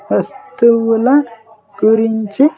వస్తువుల గురించి.